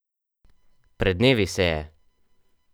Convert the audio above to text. Pred dnevi se je!